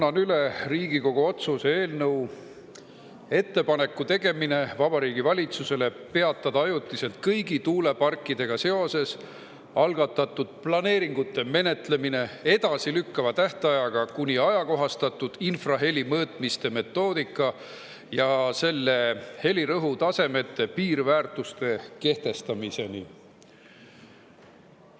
Annan üle Riigikogu otsuse eelnõu "Ettepaneku tegemine Vabariigi Valitsusele peatada ajutiselt kõigi tuuleparkidega seoses algatatud planeeringute menetlemine edasilükkava tähtajaga kuni ajakohastatud infraheli mõõtmiste metoodika ja selle helirõhutasemete piirväärtuste kehtestamiseni".